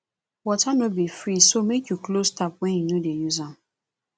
water no be free so make you close tap when you no dey use am